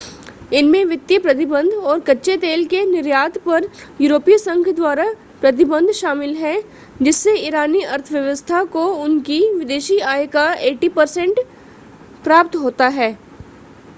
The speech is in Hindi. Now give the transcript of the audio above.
इनमें वित्तीय प्रतिबंध और कच्चे तेल के निर्यात पर यूरोपीय संघ द्वारा प्रतिबंध शामिल है जिससे ईरानी अर्थव्यवस्था को उनकी विदेशी आय का 80% प्राप्त होता है